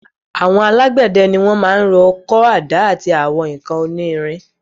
Àwọn alágbède ni wọ́n maá rọ ọkọ́, àdá àti àwọn nǹkan oní irin